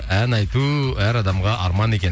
ән айту әр адамға арман екен